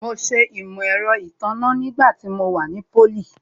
Mo ṣe Imọ-ẹrọ itanna nígbà tí mo wà ní pólì